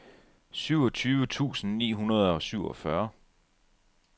syvogtyve tusind ni hundrede og syvogfyrre